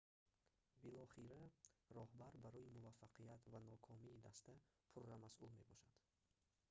билохира роҳбар барои муваффақият ва нокомии даста пурра масъул мебошад